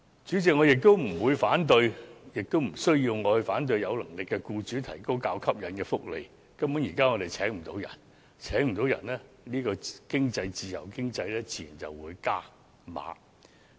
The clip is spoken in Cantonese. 主席，我不反對亦無需反對有能力的僱主為僱員提供較吸引的福利，因為現時根本難以聘請員工，在自由經濟之下，僱主自然會"加碼"。